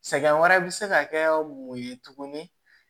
Sɛgɛn wɛrɛ bɛ se ka kɛ mun ye tuguni